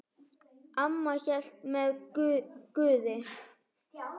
Amma hélt með Guði.